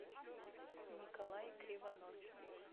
николай кривонос